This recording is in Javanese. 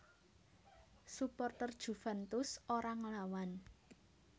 Suporter Juventus ora nglawan